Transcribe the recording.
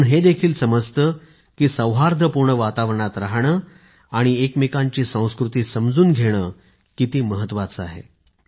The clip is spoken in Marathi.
यातून हे देखील समजतं की सौहार्दपूर्ण वातावरणात राहणे आणि एक दुसऱ्याची संस्कृती समजून घेणे किती महत्त्वाचे आहे